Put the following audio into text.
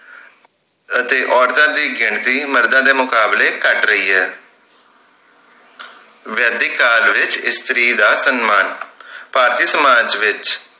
ਅਤੇ ਔਰਤਾਂ ਦੀ ਗਿਣਤੀ ਮਰਦਾਂ ਦੇ ਮੁਕਾਬਲੇ ਘੱਟ ਰਹੀ ਹੈ ਵੈਦਿਕ ਕਾਲ ਵਿਚ ਇਸਤਰੀ ਦਾ ਸੰਮਾਨ ਭਾਰਤੀ ਸਮਾਜ ਵਿਚ